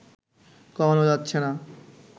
কমানো যাচ্ছে না